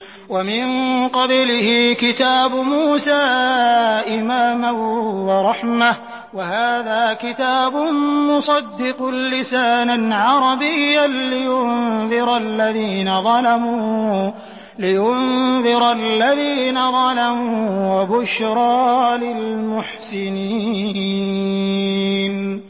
وَمِن قَبْلِهِ كِتَابُ مُوسَىٰ إِمَامًا وَرَحْمَةً ۚ وَهَٰذَا كِتَابٌ مُّصَدِّقٌ لِّسَانًا عَرَبِيًّا لِّيُنذِرَ الَّذِينَ ظَلَمُوا وَبُشْرَىٰ لِلْمُحْسِنِينَ